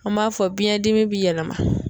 An b'a fɔ biɲɛn dimi bi yɛlɛma.